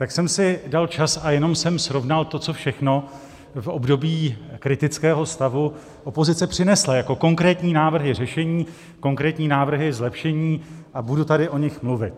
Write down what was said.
Tak jsem si dal čas a jenom jsem srovnal to, co všechno v období kritického stavu opozice přinesla jako konkrétní návrhy řešení, konkrétní návrhy zlepšení, a budu tady o nich mluvit.